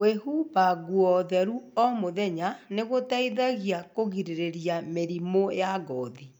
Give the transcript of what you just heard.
Kwĩhumba nguo theru o mũthenya nĩ gũteithagia kũgirĩrĩria mĩrimũ ya ngothi.